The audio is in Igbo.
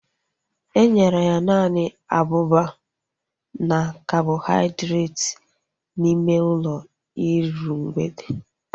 Enyere ya naanị abụba na kabọhaidreeti n'ime ụlọ iru mgbede